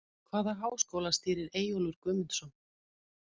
Hvaða háskóla stýrir Eyjólfur Guðmundsson?